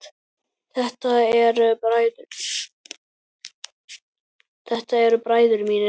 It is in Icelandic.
Þetta eru bræður mínir.